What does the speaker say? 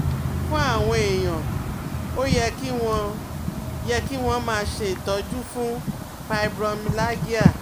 Fún àwọn èèyàn, ó yẹ kí wọ́n yẹ kí wọ́n máa ṣe ìtọ́jú fún fibromyalgia